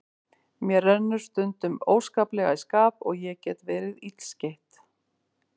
Mér rennur stundum óskaplega í skap og ég get verið illskeytt.